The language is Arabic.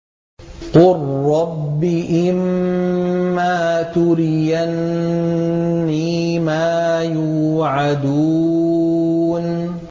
قُل رَّبِّ إِمَّا تُرِيَنِّي مَا يُوعَدُونَ